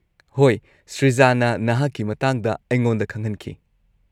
-ꯍꯣꯏ ꯁ꯭ꯔꯤꯖꯥꯅ ꯅꯍꯥꯛꯀꯤ ꯃꯇꯥꯡꯗ ꯑꯩꯉꯣꯟꯗ ꯈꯪꯍꯟꯈꯤ꯫